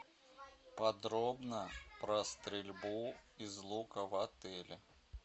подробно про стрельбу из лука в отеле